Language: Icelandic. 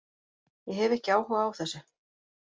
Ég hef ekki áhuga á þessu.